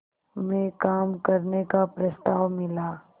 में काम करने का प्रस्ताव मिला